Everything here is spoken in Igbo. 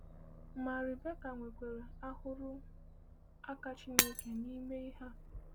“Ma Riberaka nwekwara ahụrụ aka Chineke n’ime ihe a.”